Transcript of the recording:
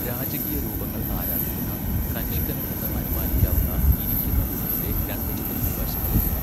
രാജകീയ രൂപങ്ങൾ ആരാധിക്കുന്ന, കനിഷ്കൻ എന്ന് അനുമാനിക്കാവുന്ന ഇരിക്കുന്ന ബുദ്ധന്റെ രണ്ട് ചിത്രങ്ങൾ വശങ്ങളിലുണ്ട്.